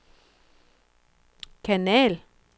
kanal